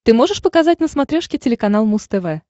ты можешь показать на смотрешке телеканал муз тв